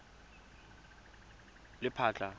lephatla